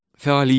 Fəaliyyət.